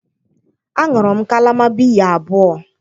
Aṅụrụ m kalama biya abụọ.